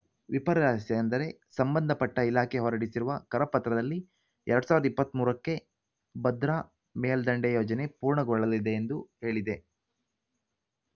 ವಿಪರ್ಯಾಸ ಎಂದರೆ ಸಂಬಂಧಪಟ್ಟಇಲಾಖೆ ಹೊರಡಿಸಿರುವ ಕರಪತ್ರದಲ್ಲಿ ಎರಡ್ ಸಾವಿರದ ಇಪ್ಪತ್ತ್ ಮೂರು ಕ್ಕೆ ಭದ್ರಾ ಮೇಲ್ದಂಡೆ ಯೋಜನೆ ಪೂರ್ಣಗೊಳ್ಳಲಿದೆ ಎಂದು ಹೇಳಿದೆ